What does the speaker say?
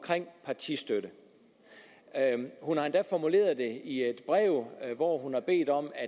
partistøtte hun har endda formuleret det i et brev hvor hun har bedt om at